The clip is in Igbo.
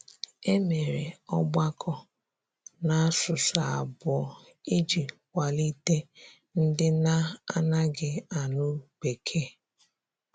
E mere ọgbakọ n'asụsụ abụọ iji kwalite ndị na - anaghị anụ bekee.